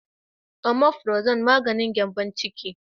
"Omiprazole " maganin gyanbon ciki.